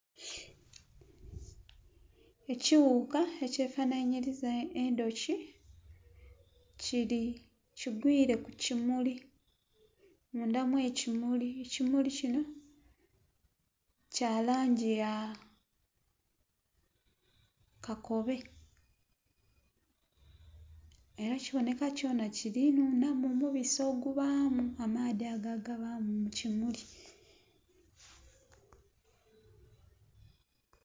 Ekiwuuka ekyefanhanhiriza endhuki kiri...kigwiire ku kimuli mundha mw'ekimuli, ekimuli kino kya langi ya kakobe. Era kiboneka kyona kiri nhunhamu omubisi ogubaamu amaadhi ago agabaamu mu kimuli.